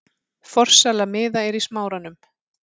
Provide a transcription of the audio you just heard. Forsala miða er í Smáranum.